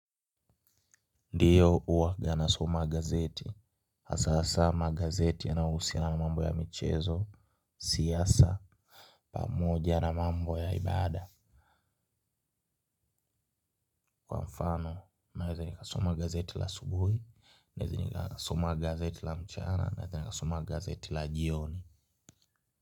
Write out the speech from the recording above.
Ndiyo huwa na soma gazeti. Hasa hasa magazeti yanahusiana mambo ya michezo, siasa, pamoja na mambo ya ibada. Kwa mfano, naeza nikasoma gazeti la asubuhi, naeza nikasoma gazeti la mchana, naeza nikasoma gazeti la jioni.